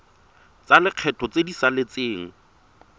tsa lekgetho tse di saletseng